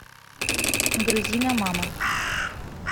грузина мама